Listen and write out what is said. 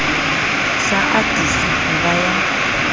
sa atise ho ba ya